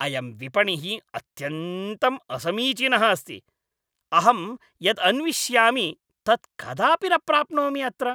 अयं विपणिः अत्यन्तं असमीचीनः अस्ति। अहं यत् अन्विष्यामि तत् कदापि न प्राप्नोमि अत्र ।